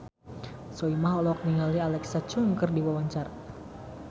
Soimah olohok ningali Alexa Chung keur diwawancara